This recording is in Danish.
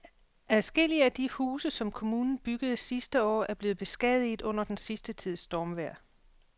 Adskillige af de huse, som kommunen byggede sidste år, er blevet beskadiget under den sidste tids stormvejr.